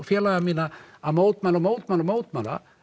félaga mína að mótmæla mótmæla mótmæla